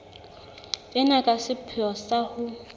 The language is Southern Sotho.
ena ka sepheo sa ho